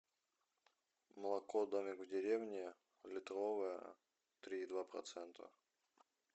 молоко домик в деревне литровое три и два процента